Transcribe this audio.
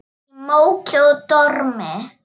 Í móki og dormi.